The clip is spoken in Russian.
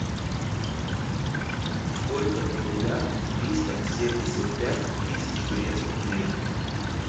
сколько в рублях триста семьдесят пять тысяч турецких лир